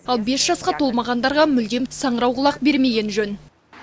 ал бес жасқа толмағандарға мүлдем саңырауқұлақ бермеген жөн